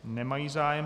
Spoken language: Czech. Nemají zájem.